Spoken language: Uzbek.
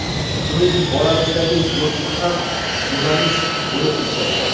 Uning bolalikdagi do‘sti ham jurnalist bo‘lib ishlaydi.